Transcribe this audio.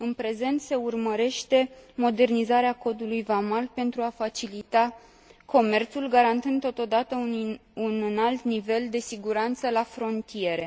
În prezent, se urmărește modernizarea Codului vamal, pentru a facilita comerțul, garantând totodată un înalt nivel de siguranță la frontiere.